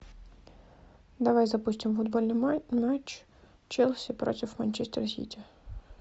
давай запустим футбольный матч челси против манчестер сити